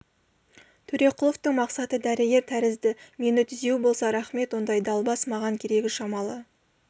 төреқұловтың мақсаты дәрігер тәрізді мені түзеу болса рақмет ондай далбас маған керегі шамалы